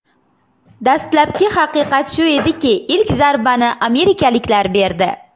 Dastlabki haqiqat shu ediki, ilk zarbani amerikaliklar berdi.